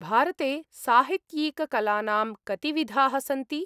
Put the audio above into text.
भारते साहित्यिककलानां कतिविधाः सन्ति ?